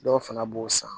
Dɔw fana b'o san